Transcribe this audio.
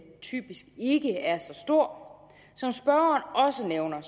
typisk ikke er så stor som spørgeren også nævner